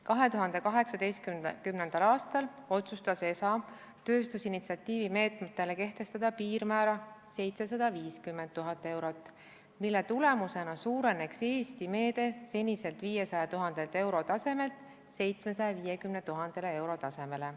2018. aastal otsustas ESA tööstusinitsiatiivi meetmetele kehtestada piirmäära 750 000 eurot, mille tulemusena suureneks Eesti meede seniselt 500 000 euro tasemelt 750 000 euro tasemele.